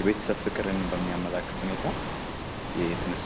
የቤተሰብ ፍቅርን በሚያመላክት ሁኔታ የተነሳ ነው።